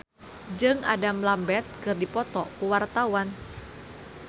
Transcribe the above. Arlanda Ghazali Langitan jeung Adam Lambert keur dipoto ku wartawan